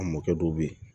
A mɔkɛ dɔw bɛ yen